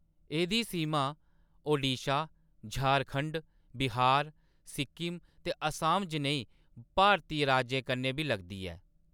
एह्‌‌‌दी सीमा ओडिशा, झारखंड, बिहार, सिक्किम ते असम जनेह् भारती राज्यें कन्नै बी लगदी ऐ।